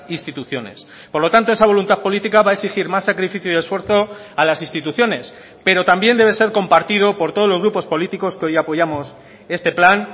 instituciones por lo tanto esa voluntad política va a exigir más sacrificio y esfuerzo a las instituciones pero también debe ser compartido por todos los grupos políticos que hoy apoyamos este plan